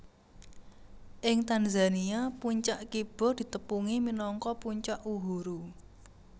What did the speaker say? Ing Tanzania puncak Kibo ditepungi minangka Puncak Uhuru